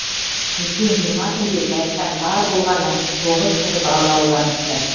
өткен жиырма күнде жайықтан бар болғаны тоғыз тірі балық ауланыпты